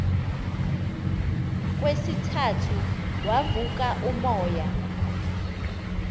kwesithathu wavuka umoya